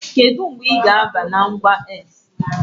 Kedu mgbe ị ga-aba na ngwa X?